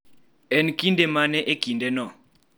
En kinde mane e kindeno